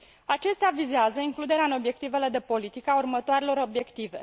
Acestea vizează includerea în obiectivele de politică a următoarelor obiective